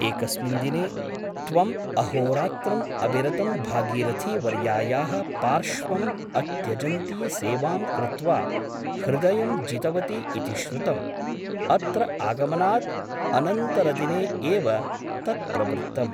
एकस्मिन् दिने त्वम् अहोरात्रम् अविरतं भागीरथीवर्यायाः पार्श्वम् अत्यजन्ती सेवां कृत्वा हृदयं जितवती इति श्रुतम् अत्र आगमनात् अनन्तरदिने एव तत् प्रवृत्तम् ।